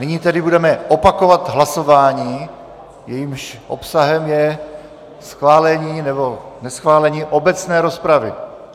Nyní tedy budeme opakovat hlasování, jehož obsahem je schválení nebo neschválení obecné rozpravy.